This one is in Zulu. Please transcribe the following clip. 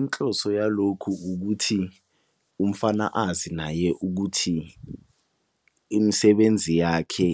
Inhloso yalokhu ukuthi umfana azi naye ukuthi imisebenzi yakhe